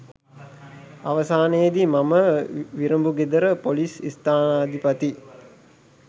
අවසානයේදී මම විරඹුගෙදර ‍පොලිස් ස්ථානාධිපති